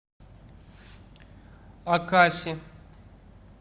акаси